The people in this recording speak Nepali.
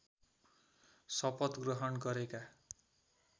शपथ ग्रहण गरेका